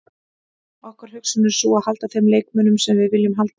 Okkar hugsun er sú að halda þeim leikmönnum sem við viljum halda.